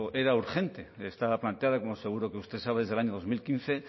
era urgente estaba planteada como seguro que usted sabe desde el año dos mil quince